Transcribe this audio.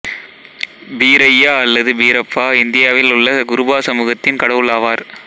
பீரய்யா அல்லது பீரப்பா இந்தியாவில் உள்ள குருபா சமூகத்தின் கடவுள் ஆவார்